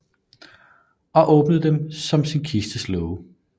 Og åbnede dem sin kirkes låge